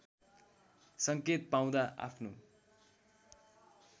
सङ्केत पाउँदा आफ्नो